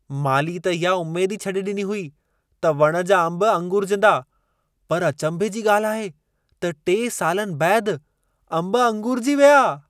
माली त इहा उमेद ई छडे॒ डि॒नी हुई त वण जा अंबु अंगूरिजंदा पर अचंभे जी ॻाल्हि आहे त टे सालनि बैदि अंबु अंगूरिजी विया।